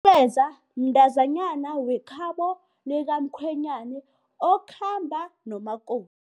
mntazanyana wekhabo likamkhwenyana okhamba nomakoti.